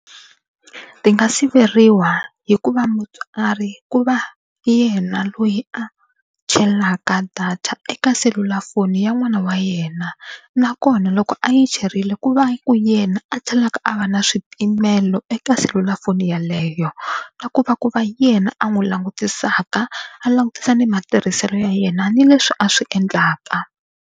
Ti nga siveriwa hi ku va mutswari ku va yena loyi a chelaka data eka selulafoni ya n'wana wa yena nakona loko a yi cherile ku va ku yena a tlhelaka a va na swipimelo eka selulafoni yeleyo na ku va ku va yena a n'wi langutisaka a langutisa ni matirhiselo ya yena ni leswi a swi endlaka.